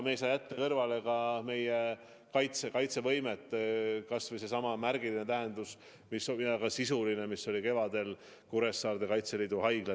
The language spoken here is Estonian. Me ei saa jätta kõrvale ka meie kaitsevõimet – kas või seesama märgiline ja väga sisuline samm, mis tehti kevadel, kui Kuressaares pandi üles Kaitseliidu haigla.